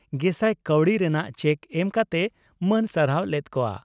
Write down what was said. ᱜᱮᱥᱟᱭ ᱠᱟᱣᱰᱤ ᱨᱮᱱᱟᱜ ᱪᱮᱠ ᱮᱢ ᱠᱟᱛᱮᱭ ᱢᱟᱹᱱ ᱥᱟᱨᱦᱟᱣ ᱞᱮᱫ ᱠᱚᱜᱼᱟ ᱾